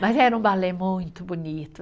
Mas era um balé muito bonito.